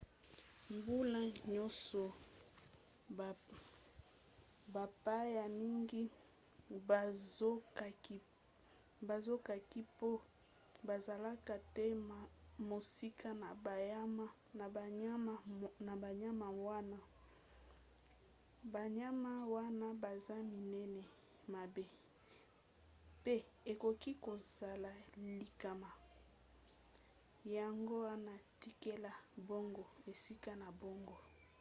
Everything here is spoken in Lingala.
mbula nyonso bapaya mingi bazokaki mpo bazalaka te mosika na banyama wana. banyama wana baza minene mabe mpe ekoki kozala likama yango wana tikela bango esika na bango